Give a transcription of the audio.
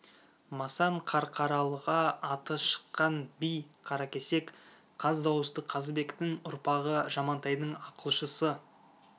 масан қарқаралыға аты шыққан би қаракесек қаз дауысты қазыбектің ұрпағы жамантайдың ақылшысы